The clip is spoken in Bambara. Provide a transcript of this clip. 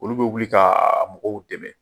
Olu bɛ wuli ka mɔgɔw dɛmɛ.